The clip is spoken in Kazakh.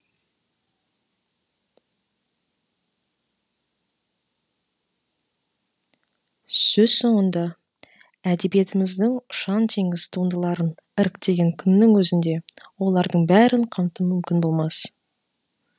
сөз соңында әдебиетіміздің ұша ңтеңіз туындыларын іріктеген күннің өзінде олардың бәрін қамту мүмкін болмас